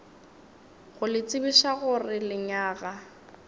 go le tsebiša gore lenyaga